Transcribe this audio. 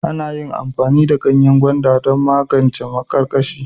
Ana iya amfani da ganyen gwanda don magance maƙarƙashiya.